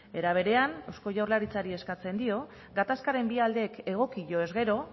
era berean eusko jaurlaritzari eskatzen dio gatazkaren bi aldeek egokioz gero